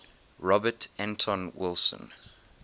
robert anton wilson